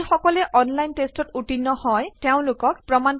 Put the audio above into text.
এইটোয়েই spoken tutorial প্ৰজ়েক্টখনৰ চমু সামৰণি মাৰিব